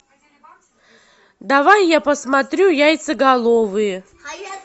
давай я посмотрю яйцеголовые